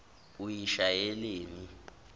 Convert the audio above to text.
uyishayeleni